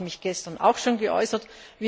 Dazu habe ich mich gestern auch schon geäußert.